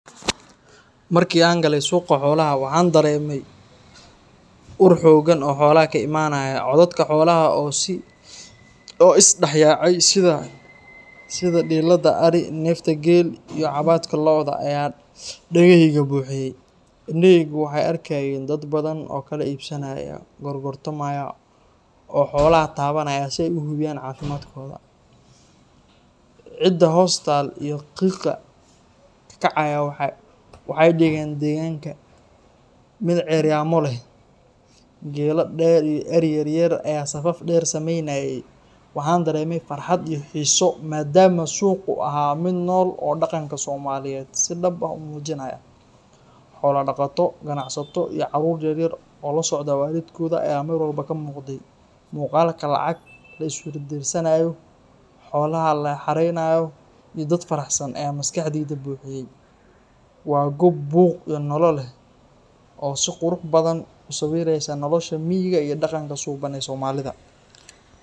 Markii aan galay suuqa xoolaha, waxaan dareemay ur xooggan oo xoolaha ka imaanaya. Codadka xoolaha oo is dhexyaacay, sida dhiillada ari, neefta geel, iyo cabaadka lo'da ayaa dhagahayga buuxiyay. Indhahaygu waxay arkayeen dad badan oo kala iibsanaya, gorgortamaya, oo xoolaha taabanaya si ay u hubiyaan caafimaadkooda. Ciidda hoos taal iyo qiiqa ka kacaya waxay ka dhigeen deegaanka mid ceeryaamo leh. Geela dheer iyo ari yar yar ayaa safaf dheer samaynayay. Waxaan dareemay farxad iyo xiiso, maadaama suuqu ahaa mid nool oo dhaqanka Soomaaliyeed si dhab ah u muujinaya. Xoolo dhaqato, ganacsato, iyo caruur yaryar oo la socda waalidkood ayaa meel walba ka muuqday. Muuqaalka lacago la isweydaarsanayo, xoolaha la xareynayo, iyo dad faraxsan ayaa maskaxdayda buuxiyay. Waa goob buuq iyo nolol leh oo si qurux badan u sawiraysa nolosha miyiga iyo dhaqanka suuban ee Soomaalida.